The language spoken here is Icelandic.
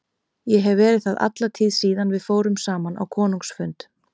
Ég hef verið það alla tíð síðan við fórum saman á konungsfund.